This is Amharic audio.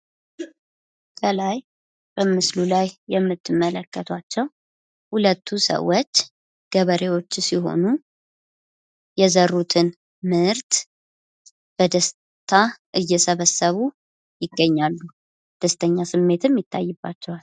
ከላይ በምስሉ ላይ የምትመለከቷቸዉ ሁለቱ ሰዎች ገበሬዎች ሲሆኑ የዘሩትን ምርት በደስታ እየሰበሰቡ ይገኛሉ። ደስተኛ ፊትም ይታይባቸዋል።